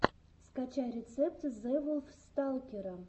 скачай рецепт зэвулфсталкера